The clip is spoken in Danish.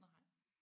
Nej